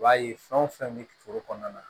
I b'a ye fɛn o fɛn bɛ foro kɔnɔna na